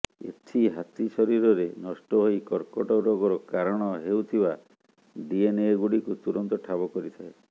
ଏଥି ହାତୀ ଶରୀରରେ ନଷ୍ଟ ହୋଇ କର୍କଟ ରୋଗର କାରଣ ହେଉଥିବା ଡିଏନ୍ଏଗୁଡ଼ିକୁ ତୁରନ୍ତ ଠାବ କରିଥାଏ